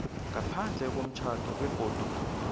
ngaphandle komtjhado begodu